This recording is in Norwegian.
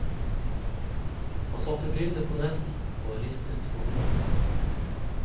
Han satte brillene på nesen og ristet på hodet.